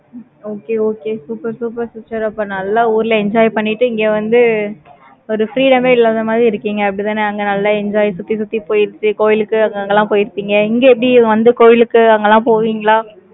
okay okay super super sister அப்ப நல்லா ஊர்ல enjoy பண்ணிட்டு, இங்க வந்து, ஒரு freedom ஏ இல்லாத மாதிரி இருக்கீங்க, அப்படித்தானே, அங்க நல்லா enjoy சுத்தி, சுத்தி போயிருச்சு, கோயிலுக்கு, அங்கங்க எல்லாம் போயிருப்பீங்க, இங்க எப்படி வந்து, கோயிலுக்கு அங்க எல்லாம் போவீங்களா